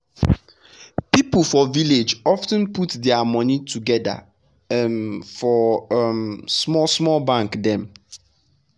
people for village of ten put dia money together um for um small small bank dem.